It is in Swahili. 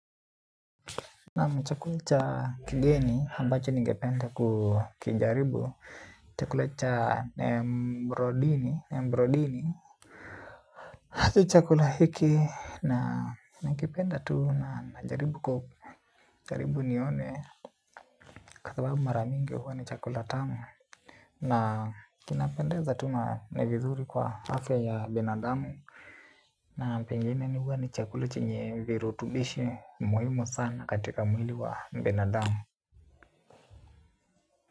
Naam chakula cha kigeni ambacho nigependa kukijaribu chakula cha mbrodini mbrodini hata chakula hiki na nakipenda tu na najaribu ku karibu nione kwa sababu mara mingi huwa ni chakula tamu. Na kinapendeza tu na ni vizuri kwa afya ya binadamu. Na pengine ni huwa ni chakula chenye virutubishi muhimu sana katika mwili wa binadamu.